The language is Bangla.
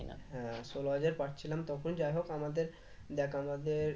হ্যাঁ ষোলো হাজার পাচ্ছিলাম তখন যাই হোক আমাদের দেখ আমাদের